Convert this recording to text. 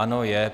Ano, je.